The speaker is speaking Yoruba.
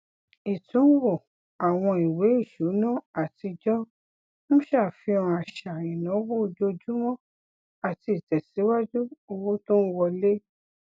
ìtúnwo àwọn ìwé ìṣúná àtijọ ń ṣàfihàn àṣà ináwó ojoojúmọ àti ìtẹsíwájú owó tó ń wọlé